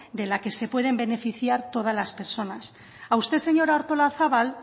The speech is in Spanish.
de la que se pueden beneficiar todas las personas a usted señora artolazabal